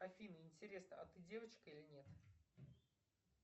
афина интересно а ты девочка или нет